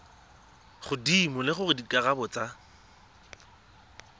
godimo le gore dikarabo tsa